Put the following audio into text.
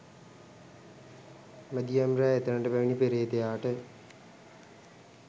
මැදියම් රෑ එතැනට පැමිණි පේ්‍රතයාට